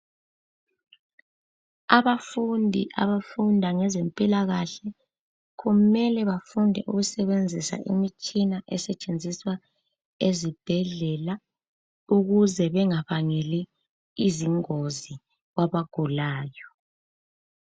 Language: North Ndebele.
Abafundi abafunda ngezempilakahle kumele bafunde ukusebenzisa imitshina esetshenziswa ezibhedlela, ukuze bengabangeli izingozi kwabagulayo.